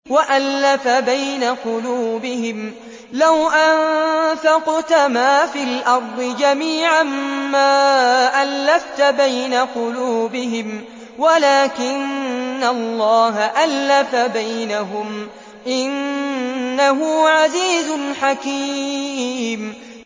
وَأَلَّفَ بَيْنَ قُلُوبِهِمْ ۚ لَوْ أَنفَقْتَ مَا فِي الْأَرْضِ جَمِيعًا مَّا أَلَّفْتَ بَيْنَ قُلُوبِهِمْ وَلَٰكِنَّ اللَّهَ أَلَّفَ بَيْنَهُمْ ۚ إِنَّهُ عَزِيزٌ حَكِيمٌ